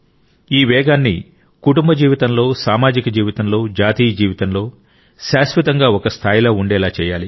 ఈ వేగాన్ని కుటుంబ జీవితంలో సామాజిక జీవితంలో జాతీయ జీవితంలో శాశ్వతంగా ఒక స్థాయిలో ఉండేలా చేయాలి